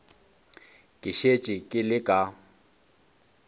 ke šetše ke le ka